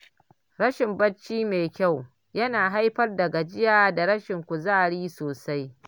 Rashin barci mai kyau yana haifar da gajiya da rashin kuzari sosai.